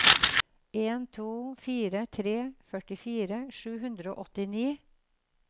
en to fire tre førtifire sju hundre og åttini